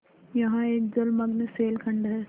यहाँ एक जलमग्न शैलखंड है